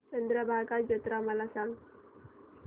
चंद्रभागा जत्रा मला सांग